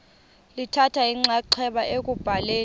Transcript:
lithatha inxaxheba ekubhaleni